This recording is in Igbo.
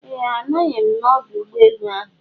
Eeh, agaghị m na ọdụ ụgbọ enu ahụ